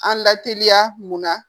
An lateliya mun na